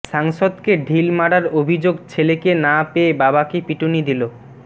সাংসদকে ঢিল মারার অভিযোগ ছেলেকে না পেয়ে বাবাকে পিটুনি দিল আ